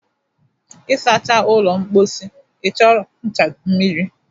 ịsacha ụlọ mposi ị chọrọ ncha na mmiri